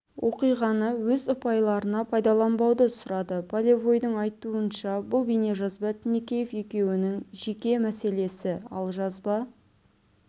оқиғаны өз ұпайларына пайдаланбауды сұрады полевойдың айтуынша бұл бейнежазба тінікеев екеуінің жеке мәселесі ал жазба